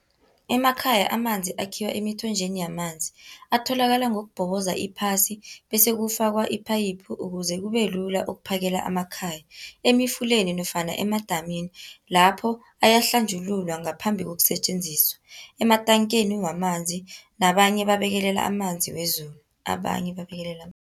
Emakhaya amanzi akhiwa emithonjeni yamanzi, atholakala ngokubhoboza iphasi, bese kufakwa iphayiphu, ukuze kube lula ukuphakela amakhaya. Emfuleni nofana emadamini, lapho ayahlanjululwa ngaphambi kokusetjenziswa. Ematankeni wamanzi, nabanye babekelela amanzi wezulu, nabanye bebabekelela